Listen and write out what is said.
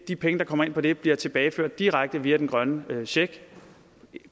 de penge der kommer ind på det bliver tilbageført direkte via den grønne check